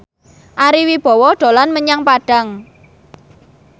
Ari Wibowo dolan menyang Padang